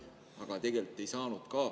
Aga tegelikult ei saanud.